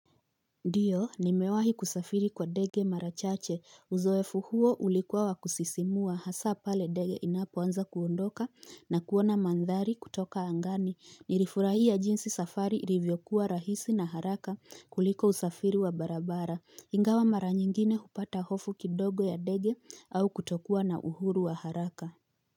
Ndiyo nimewahi kusafiri kwa ndege mara chache uzoefu huo ulikuwa wa kusisimua hasa pale ndege inapoanza kuondoka na kuona mandhari kutoka angani nirifurahia jinsi safari ilivyokuwa rahisi na haraka kuliko usafiri wa barabara ingawa mara nyingine hupata hofu kidogo ya ndege au kutokuwa na uhuru wa haraka.